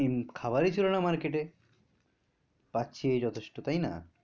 খাবারই ছিলো না market এ পাচ্ছি এই যথেষ্ট তাইনা